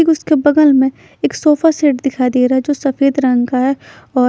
ठीक उसके बगल में एक सोफा सेट दिखाई देरा जो सफेद रंग का है और--